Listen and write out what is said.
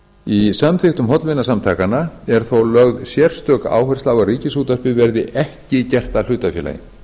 í samþykktum hollvinasamtakanna er þó lögð sérstök áhersla á að ríkisútvarpið verði ekki gert að hlutafélagi